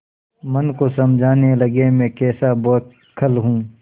मन को समझाने लगेमैं कैसा बौखल हूँ